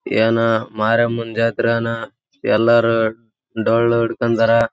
ಏನೊ ಮಾರಿಯಮ್ಮನ ಜಾತ್ರಿಯಾನ ಎಲ್ಲರು ಡೋಲು ಹಿಡ್ಕೊಂಡಾರ.